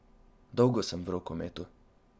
Dolgo sem v rokometu.